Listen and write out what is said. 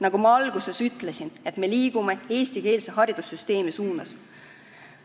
Nagu ma alguses ütlesin, me liigume eestikeelse haridussüsteemi suunas.